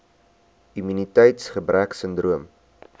immuniteits gebrek sindroom